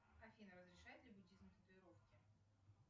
афина разрешает ли буддизм татуировки